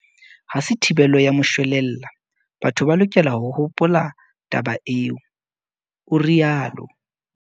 "Ha se thibelo ya moshwelella, batho ba lokela ho hopola taba eo," o rialo.